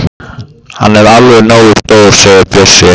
Hann er alveg nógu stór segir Bjössi.